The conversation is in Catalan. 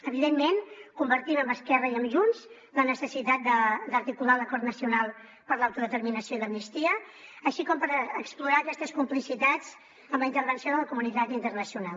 evidentment compartim amb esquerra i amb junts la necessitat d’articular l’acord nacional per l’autodeterminació i l’amnistia així com d’explorar aquestes complicitats amb la intervenció de la comunitat internacional